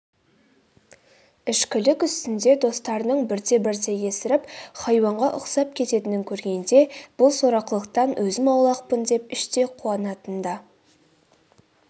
ішкілік үстінде достарының бірте-бірте есіріп хайуанға ұқсап кететінін көргенде бұл сорақылықтан өзім аулақпын деп іштей қуанатын да